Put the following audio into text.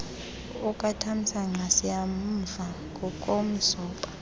okatamsanqa siyamvuma ngokumzoba